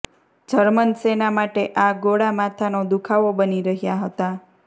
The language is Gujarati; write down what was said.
જર્મન સેના માટે આ ગોળા માથાનો દુખાવો બની રહ્યા હતા